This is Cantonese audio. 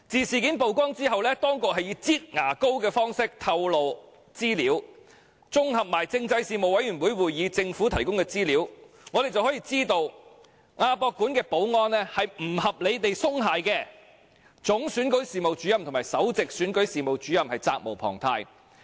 事件曝光後，當局以"擠牙膏"的方式透露資料，綜合政制事務委員會會議上政府提供的資料，我們得悉亞博館的保安不合理地鬆懈，就此，總選舉事務主任及首席選舉事務主任責無旁貸。